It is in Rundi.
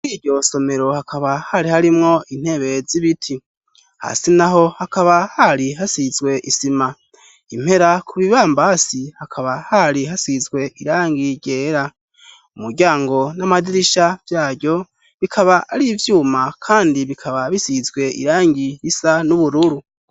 Muri iyo somero hakaba hari harimwo ntebe zibiti, hasi naho hakaba hari hasizwe isima, impera ku bibambazi hakaba hari hasizwe irangi ryera. umuryango n'amadirisha vyaryo bikaba ari ivyuma kandi bikaba bisizwe irangi risa n'ubururu.